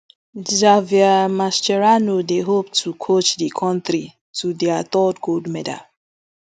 javier mascherano dey hope to coach di kontri to dia third gold medal